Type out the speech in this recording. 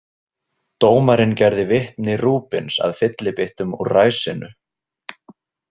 Dómarinn gerði vitni Rubins að fyllibyttum úr ræsinu.